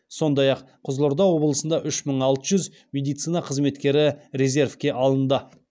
сондай ақ қызылорда облысында үш мың алты жүз медицина қызметкері резервке алынды